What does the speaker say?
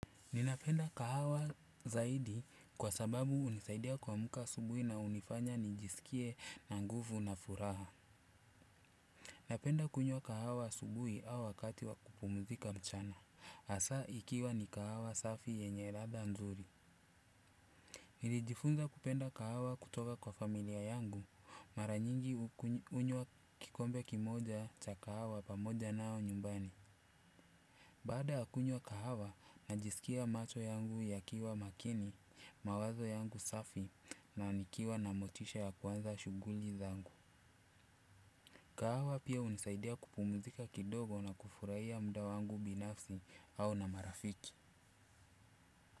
Ninapenda kahawa zaidi kwa sababu hunisaidia kuamka asubuhi na hunifanya nijisikie na nguvu na furaha. Napenda kunywa kahawa asubuhi au wakati wakupumzika mchana. Hasa ikiwa ni kahawa safi yenye ladha nzuri. Nilijifunza kupenda kahawa kutoka kwa familia yangu maranyingi hunywa kikombe kimoja cha kahawa pamoja nao nyumbani. Baada ya kunywa kahawa, najisikia macho yangu yakiwa makini, mawazo yangu safi na nikiwa na motisha ya kuanza shughuli zangu. Kahawa pia hunisaidia kupumzika kidogo na kufurahia muda wangu binafsi au na marafiki.